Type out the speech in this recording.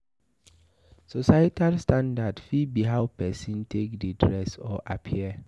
Societal standards fit be how person take dey dress or appear